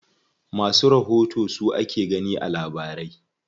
Masu rahoto su ake gani a labarai.